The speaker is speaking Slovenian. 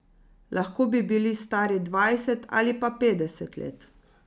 Lahko bi bili stari dvajset ali pa petdeset let.